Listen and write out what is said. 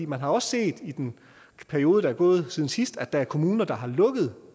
man har også set i den periode der er gået siden sidst at der er kommuner der har lukket